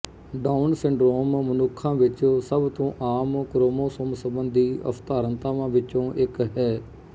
down syndrome ਮਨੁੱਖਾਂ ਵਿੱਚ ਸਭ ਤੋਂ ਆਮ ਕ੍ਰੋਮੋਸੋਮ ਸਬੰਧੀ ਅਸਧਾਰਨਤਾਵਾਂ ਵਿੱਚੋਂ ਇੱਕ ਹੈ